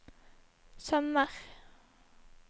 sømmer